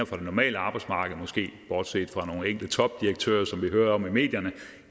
fra det normale arbejdsmarked måske bortset fra nogle enkelte topdirektører som vi hører om i medierne